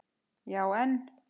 Já en?